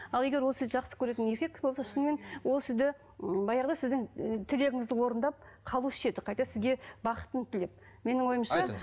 ал егер ол сізді жақсы көретін еркек болса шынымен ол сізді ммм баяғыда сіздің ы тілегіңізді орындап қалушы еді қайта сізге бақытын тілеп менің ойымша